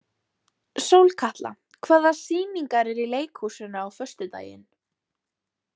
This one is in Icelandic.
Sólkatla, hvaða sýningar eru í leikhúsinu á föstudaginn?